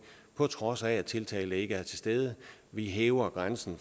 på trods af at tiltalte ikke er til stede vi hæver grænsen